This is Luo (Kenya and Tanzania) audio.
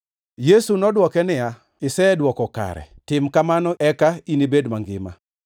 Yesu nodwoke niya, “Isedwoko kare, tim kamano, eka inibed mangima.”